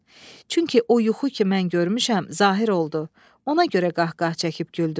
Çünki o yuxu ki mən görmüşəm, zahir oldu, ona görə qah-qah çəkib güldüm.